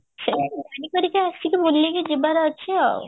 ଗାଡି କରିକି ଆସି ବୁଲିକି ଯିବାର ଅଛି ଆଉ